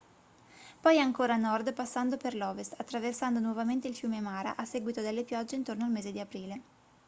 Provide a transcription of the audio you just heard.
poi ancora a nord passando per l'ovest attraversando nuovamente il fiume mara a seguito delle piogge intorno al mese di aprile